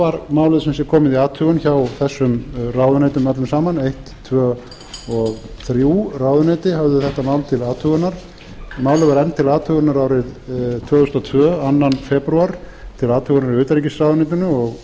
var málið sem sé komið í athugun hjá þessum ráðuneytum öllum saman eitt tvö og þrjú ráðuneyti höfðu þetta mál til athugunar málið var enn til athugunar árið tvö þúsund og tvö önnur febrúar til athugunar í utanríkisráðuneytinu